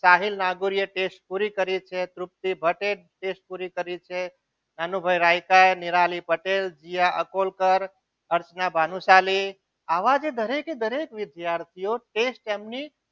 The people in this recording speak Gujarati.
પૂરી કરી છે test પૂરી કરી છે અનુભાઈ રાયકાએ નિરાલી પટેલ જીયાકુલકર અર્ચના ભાનુશાલી આવાજે દરેકે દરેક વિદ્યાર્થીઓએ test તેમની